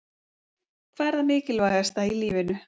Hvað er það mikilvægasta í lífinu?